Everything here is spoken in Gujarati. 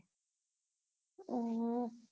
અમ